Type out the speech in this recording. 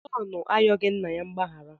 Jọn ayọghị nna ya mgbaghara.